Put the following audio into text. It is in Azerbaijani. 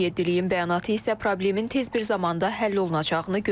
Böyük Yeddiliyin bəyanatı isə problemin tez bir zamanda həll olunacağını göstərmir.